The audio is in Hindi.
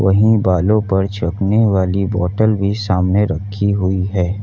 यही बालों पर छिड़कने वाली बॉटल भी सामने रखी हुई है।